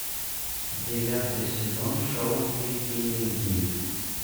девятый сезон шоу викинги